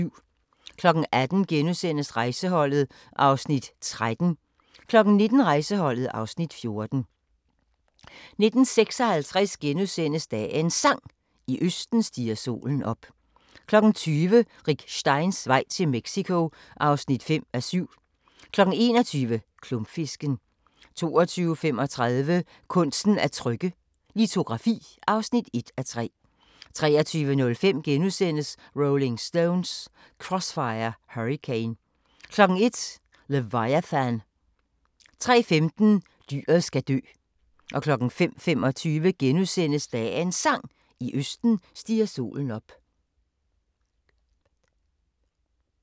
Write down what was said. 18:00: Rejseholdet (Afs. 13)* 19:00: Rejseholdet (Afs. 14) 19:56: Dagens Sang: I østen stiger solen op * 20:00: Rick Steins vej til Mexico (5:7) 21:00: Klumpfisken 22:35: Kunsten at trykke – Litografi (1:3) 23:05: Rolling Stones: Crossfire Hurricane * 01:00: Leviathan 03:15: Dyret skal dø 05:25: Dagens Sang: I østen stiger solen op *